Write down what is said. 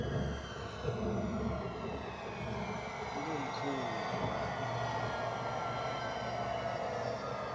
kungumkhuba